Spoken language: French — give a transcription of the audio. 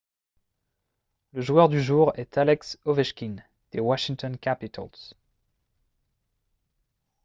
le joueur du jour est alex ovechkin des washington capitals